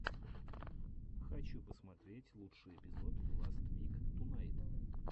хочу посмотреть лучший эпизод ласт вик тунайт